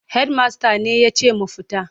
Hedimasta ne ya ce mu fita.